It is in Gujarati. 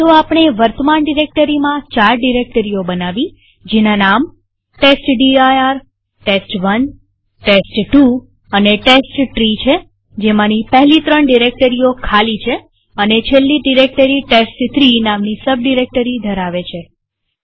તો આપણે વર્તમાન ડિરેક્ટરીમાં ચાર ડિરેક્ટરીઓ બનાવી જેના નામ testdirtest1ટેસ્ટ2 અને ટેસ્ટટ્રી છેજેમાંની પહેલી ત્રણ ડિરેક્ટરીઓ ખાલી છે અને છેલ્લી ડિરેક્ટરી ટેસ્ટ3 નામની સબ ડિરેક્ટરી ધરાવે છે